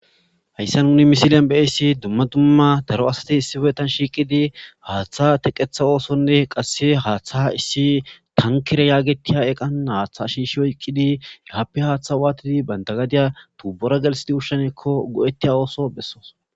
hayssa nuni misilen beyissi dumma dumma daro asati issibetan shiiqidi haaththa teqetha oosonne qasse haaththa issi tankire yaagetiya eqan haaththa shiishi oyqqidi yahappe haaththa waatidi banda gadiya tuubora gelsidi hushshenekko go7ettiya ooso bessoos